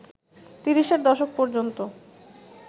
তিরিশের দশক ‌পর্যন্ত